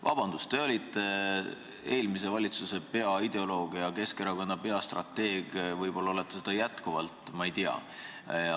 Vabandust, te olite eelmise valitsuse peaideoloog ja Keskerakonna peastrateeg, võib-olla te olete seda jätkuvalt, ma ei tea.